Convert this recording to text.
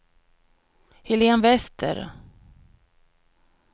Helén Wester